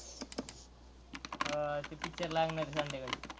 अह ते picture लागणार आहे संध्याकाळी.